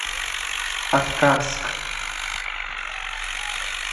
аткарск